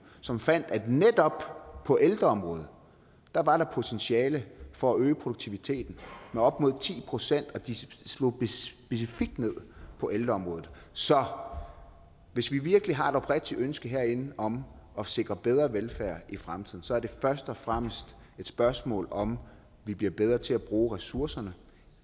som fandt at netop på ældreområdet var var der potentiale for at øge produktiviteten med op mod ti procent de slog specifikt ned på ældreområdet så hvis vi virkelig har et oprigtigt ønske herinde om at sikre bedre velfærd i fremtiden er det først og fremmest et spørgsmål om at vi bliver bedre til at bruge ressourcerne og